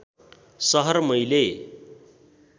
सहर मैले